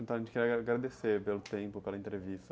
Então, a gente queria agradecer pelo tempo, pela entrevista.